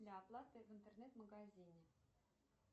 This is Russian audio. для оплаты в интернет магазине